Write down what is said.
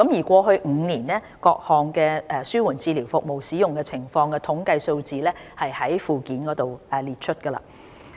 過去5年各項紓緩治療服務使用情況的統計數字載於附件。